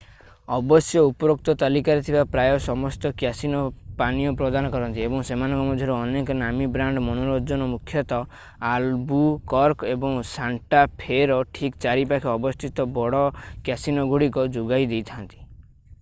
ଅବଶ୍ୟ ଉପରୋକ୍ତ ତାଲିକାରେ ଥିବା ପ୍ରାୟ ସମସ୍ତ କ୍ୟାସିନୋ ପାନୀୟ ପ୍ରଦାନ କରନ୍ତି ଏବଂ ସେମାନଙ୍କ ମଧ୍ୟରୁ ଅନେକ ନାମୀ-ବ୍ରାଣ୍ଡ ମନୋରଞ୍ଜନ ମୁଖ୍ୟତଃ ଆଲବୁକର୍କ ଏବଂ ସାଣ୍ଟା ଫେ’ର ଠିକ୍‌ ଚାରିପାଖରେ ଅବସ୍ଥିତ ବଡ଼ କ୍ୟାସିନୋଗୁଡ଼ିକ ଯୋଗାଇ ଦେଇଥାନ୍ତି।